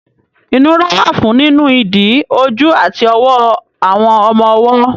Ìnura wà fún nínu ìdí, ojú àti ọwọ́ àwọn ọmọ ọwọ́.